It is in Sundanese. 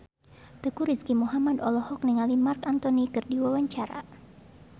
Teuku Rizky Muhammad olohok ningali Marc Anthony keur diwawancara